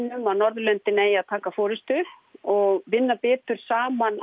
um að Norðurlöndin eigi að taka forystu og vinna betur saman